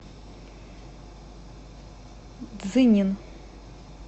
цзинин